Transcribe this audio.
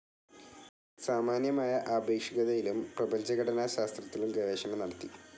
സാമാന്യമായ ആപേക്ഷികതയിലും പ്രപഞ്ചഘടനാശാസ്ത്രത്തിലും ഗവേഷണം നടത്തി.